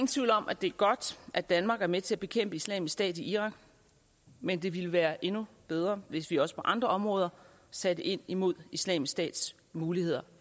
tvivl om at det er godt at danmark er med til at bekæmpe islamisk stat i irak men det ville være endnu bedre hvis vi også på andre områder satte ind imod islamisk stats muligheder